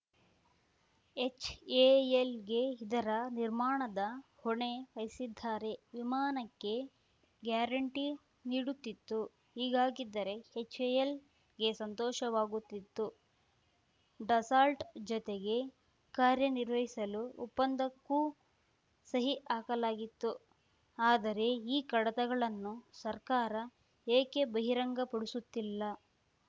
ಎಚ್‌ಎಎಲ್‌ಗೆ ಇದರ ನಿರ್ಮಾಣದ ಹೊಣೆ ವಹಿಸಿದ್ದಾರೆ ವಿಮಾನಕ್ಕೆ ಗ್ಯಾರಂಟಿ ನೀಡುತ್ತಿತ್ತು ಹೀಗಾಗಿದ್ದರೆ ಎಚ್‌ಎಎಲ್‌ಗೆ ಸಂತೋಷವಾಗುತ್ತಿತ್ತು ಡಸಾಲ್ಟ‌ ಜತೆಗೆ ಕಾರ್ಯನಿರ್ವಹಿಸಲು ಒಪ್ಪಂದಕ್ಕೂ ಸಹಿ ಹಾಕಲಾಗಿತ್ತು ಆದರೆ ಈ ಕಡತಗಳನ್ನು ಸರ್ಕಾರ ಏಕೆ ಬಹಿರಂಗಪಡಿಸುತ್ತಿಲ್ಲ